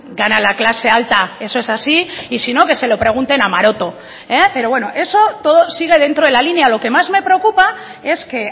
gana la clase alta eso es así y si no que se lo pregunten a maroto pero bueno eso todo sigue dentro de la línea lo que más me preocupa es que